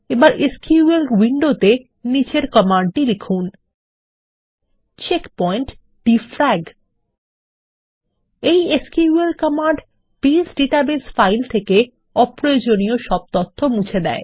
এবার এসকিউএল উইন্ডোতে নিম্নোক্ত কমান্ডটি লিখুন160 চেকপয়েন্ট ডিফ্রাগ এই SQL command base database file থেকে অপ্রয়োজনীয় তথ্য মুছে দেবে